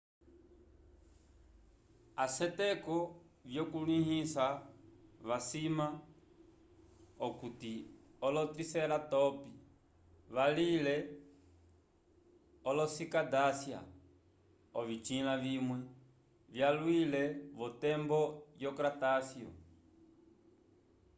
aseteko vyukulĩhiso vasima okuti olo-triceratops valile olo-cicadácea ovisĩla vimwe vyalwile v'otembo yo-cratáceo